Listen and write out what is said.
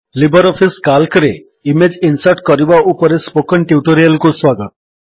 Libre office କାଲ୍କରେ image insert କରିବା ଉପରେ ସ୍ପୋକନ୍ ଟ୍ୟୁଟୋରିଆଲ୍ କୁ ସ୍ୱାଗତ